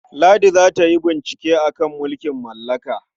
Ladi za ta yi bincike a kan mulkin mallaka.